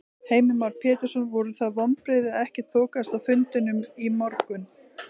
Heimir Már Pétursson: Voru það vonbrigði að ekkert þokaðist á fundinum í morgun?